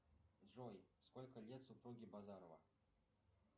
джой сколько лет супруге базарова